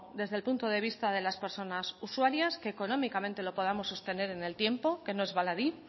desde el punto de vista de las personas usuarias que económicamente lo podamos sostener en el tiempo que no es baladí